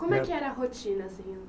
Como é que era a rotina, senhor?